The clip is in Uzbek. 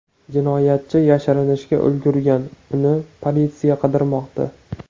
Jinoyatchi yashirinishga ulgurgan, uni politsiya qidirmoqda.